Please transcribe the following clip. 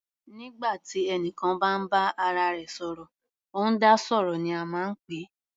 Nígbà tí ẹnìkan bá ń bá ara rẹ̀ sọ̀rọ̀, ó ń dá sọ̀rọ̀ ní a máa ń pè é.